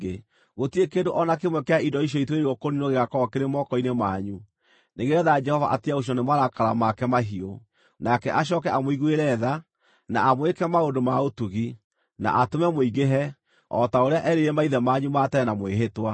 Gũtirĩ kĩndũ o na kĩmwe kĩa indo icio ituĩrĩirwo kũniinwo gĩgaakorwo kĩrĩ moko-inĩ manyu, nĩgeetha Jehova atige gũcinwo nĩ marakara make mahiũ; nake acooke amũiguĩre tha, na amwĩke maũndũ ma ũtugi, na atũme mũingĩhe, o ta ũrĩa erĩire maithe manyu ma tene na mwĩhĩtwa,